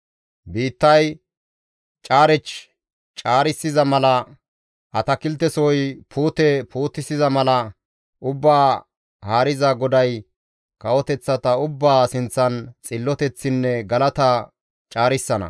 Biittay caarech caarissiza mala, atakiltesohoy puute puutisiza mala, Ubbaa Haariza GODAY kawoteththata ubbaa sinththan xilloteththinne galata caarissana.